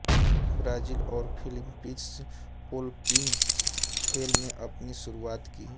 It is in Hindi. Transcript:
ब्राज़िल और फिलीपींसओलंपिक खेल में अपनी शुरुआत की